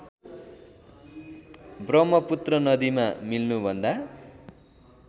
ब्रह्मपुत्र नदीमा मिल्नुभन्दा